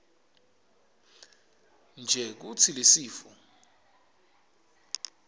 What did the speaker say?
nje kutsi lesifo